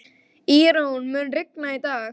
Írunn, mun rigna í dag?